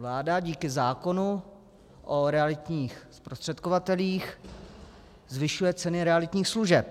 Vláda díky zákonu o realitních zprostředkovatelích zvyšuje ceny realitních služeb.